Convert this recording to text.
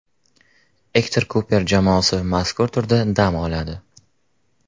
Ektor Kuper jamoasi mazkur turda dam oladi.